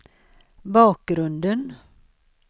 bakgrunden